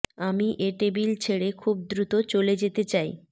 আমি এ টেবিল ছেড়ে খুব দ্রুত চলে যেতে চাই